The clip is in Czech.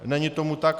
Není tomu tak.